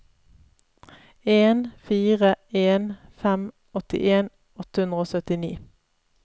en fire en fem åttien åtte hundre og syttini